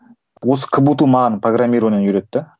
осы кбту маған программированиені үйретті